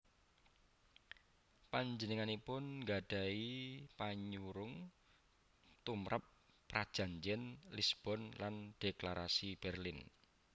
Panjenenganipun nggadhahi panyurung tumrap Prajanjén Lisbon lan Dhéklarasi Bérlin